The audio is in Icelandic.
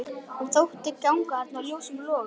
Hann þótti ganga þarna ljósum logum.